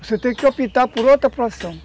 Você tem que optar por outra produção.